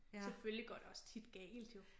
Selvfølgelig går det også tit galt jo